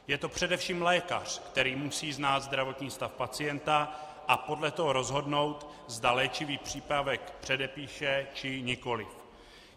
Je to především lékař, který musí znát zdravotní stav pacienta a podle toho rozhodnout, zda léčivý přípravek předepíše, či nikoliv.